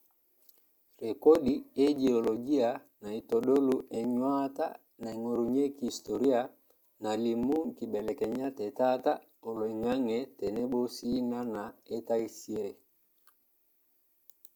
Rekodi e geolojia naitodolu enyuata naingorunyieki historia nalimu nkibelekenyat e taata oloingange tenebo sii nana e taisre.